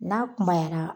N'a kunyara